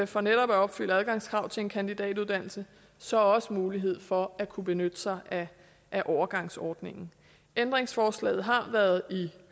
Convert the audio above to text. for netop at opfylde adgangskravet til en kandidatuddannelse så også mulighed for at kunne benytte sig af overgangsordningen ændringsforslaget har været i